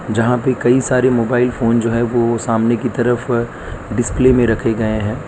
जहां भी कई सारे मोबाइल फोन जो है। वह सामने की तरफ डिस्प्ले में रखे गए हैं।